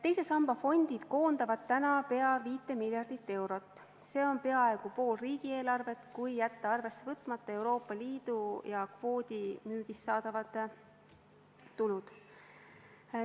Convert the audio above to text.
Teise samba fondid koondavad täna pea 5 miljardit eurot, see on peaaegu pool riigieelarvest, kui jätta arvesse võtmata Euroopa Liidu ja kvoodimüügist saadavad tulud.